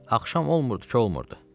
Axşam olmurdu ki, olmurdu.